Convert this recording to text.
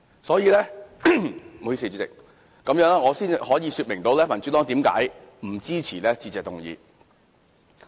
所以，主席，這樣我才能說明民主黨為何不支持致謝議案。